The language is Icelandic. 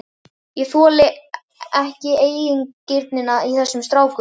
Ég þoli ekki eigingirnina í þessum strákum.